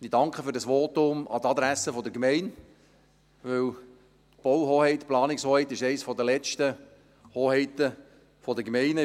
Ich danke für dieses Votum an die Adresse der Gemeinde, denn die Bauhoheit, Planungshoheit, ist eine der letzten Hoheiten der Gemeinden.